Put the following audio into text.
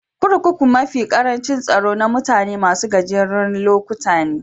Kurkuku mafi karancin tsaro na mutane masun gajeren lokuta ne.